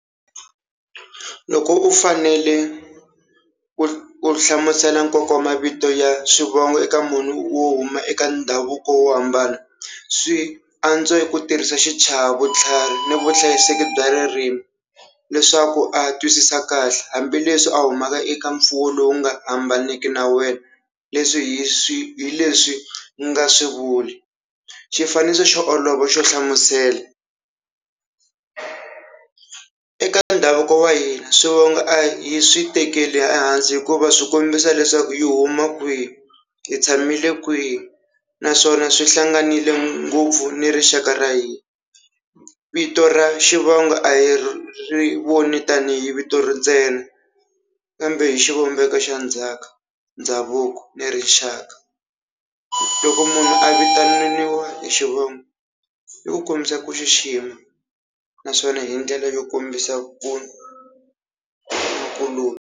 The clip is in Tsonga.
Loko u fanele ku ku hlamusela nkoka wa mavito ya swivongo eka munhu wo huma eka ndhavuko wo hambana swi antswa ku tirhisa xichava, vutlhari ni vuhlayiseki bya ririmi leswaku a twisisa kahle hambileswi a humaka eka mfuwo lowu nga hambaneki na wena leswi hi swi hi leswi nga swi vuli, xifaniso xo olova xo hlamusela eka ndhavuko wa hina swivongo a hi swi tekela ehansi hikuva swi kombisa leswaku hi huma kwihi hi tshamile kwihi naswona swi hlanganile ngopfu ni rixaka ra hina. Vito ra xivongo a hi ri voni tanihi vito ri ntsena kambe hi xivumbeko xa ndzhaku, ndhavuko ni rixaka. Loko munhu a vitaniwa hi xivongo i ku kombisa ku xixima naswona hi ndlela yo kombisa ku .